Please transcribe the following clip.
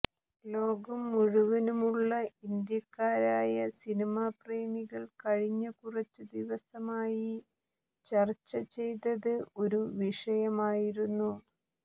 ലോകം മുഴുവനുമുള്ള ഇന്ത്യക്കാരായ സിനിമാപ്രേമികൾ കഴിഞ്ഞ കുറച്ചു ദിവസമായി ചർച്ച ചെയ്തത് ഒരു വിഷയമായിരുന്നു